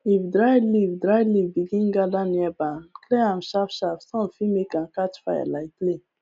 if dry leaf dry leaf begin gather near barn clear am sharp sharp sun fit make am catch fire like play